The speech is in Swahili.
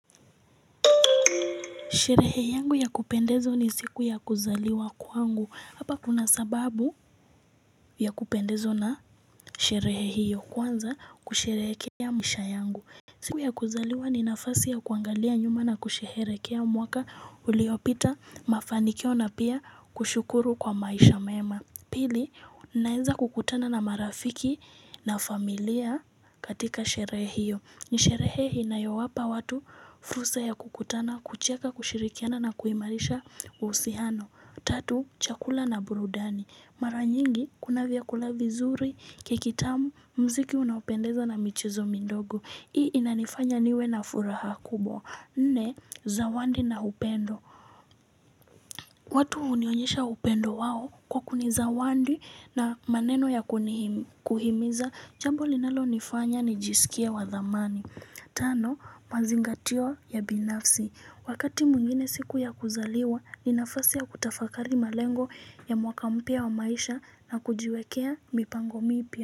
Sherehe yangu ya kupendezo ni siku ya kuzaliwa kwangu hapa kuna sababu ya kupendezo na sherehe hiyo kuanza kusherekea maisha yangu siku ya kuzaliwa ni nafasi ya kuangalia nyuma na kusherekea mwaka uliopita mafanikio na pia kushukuru kwa maisha mema Pili, naeza kukutana na marafiki na familia katika sherehe hiyo. Nisherehe inayowapa watu, fursa ya kukutana, kucheka, kushirikiana na kuimarisha usihano. Tatu, chakula na burudani. Mara nyingi, kuna viakula vizuri, kekitamu, mziki unaopendeza na michezo midogo. Hii inanifanya niwe na furaha kubwa. Nne, zawadi na upendo. Watu unionyesha upendo wao kwa kuniza wandi na maneno ya kuhimiza jambo linalo nifanya ni jisikie wa dhamani Tano mazingatio ya binafsi Wakati mungine siku ya kuzaliwa ni nafasi ya kutafakari malengo ya mwaka mpia wa maisha na kujiwekea mipango mipia.